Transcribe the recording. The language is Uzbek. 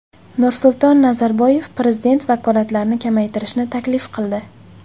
Nursulton Nazarboyev prezident vakolatlarini kamaytirishni taklif qildi.